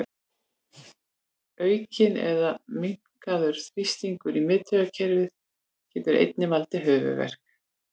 Aukinn eða minnkaður þrýstingur í miðtaugakerfi getur einnig valdið höfuðverk.